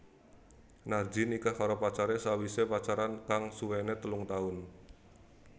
Narji nikah karo pacaré sawisé pacaran kang suwené telung taun